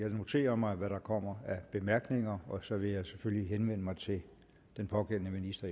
jeg noterer mig hvad der kommer af bemærkninger og så vil jeg selvfølgelig efterfølgende henvende mig til den pågældende minister